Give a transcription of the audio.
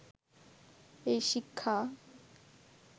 এই শিক্ষা